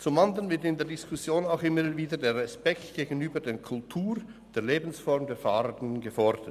Zum anderen wird in der Diskussion auch immer wieder der Respekt gegenüber der Kultur der Lebensform der Fahrenden gefordert.